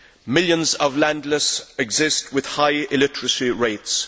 Millions of landless exist with high illiteracy rates.